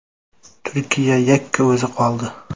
Turkiya yakka o‘zi qoldi.